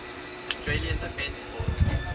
australian defence force